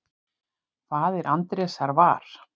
Faðir Andrésar var